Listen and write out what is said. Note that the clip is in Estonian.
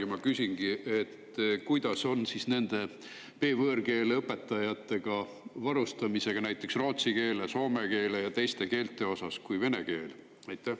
Ja ma küsingi, kuidas on B-võõrkeele õpetajatega varustamisega näiteks rootsi keele, soome keele ja teiste keelte puhul kui vene keel.